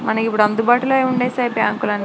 మనకి ఇప్పుదు అందుబాటులో ఉందే స్టేట్ బ్యాంకు ల్.